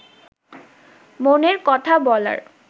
মনের কথা বলার